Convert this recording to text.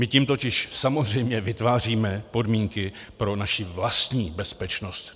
My tím totiž samozřejmě vytváříme podmínky pro naši vlastní bezpečnost.